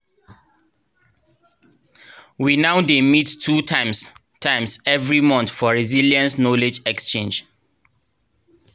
we now dey mit two times times every month for resilience knowledge exchange